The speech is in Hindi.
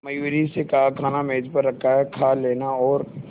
मयूरी से कहा खाना मेज पर रखा है कहा लेना और